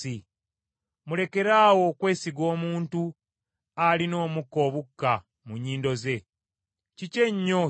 Mulekeraawo okwesiga omuntu alina omukka obukka mu nnyindo ze. Kiki ennyo kyali?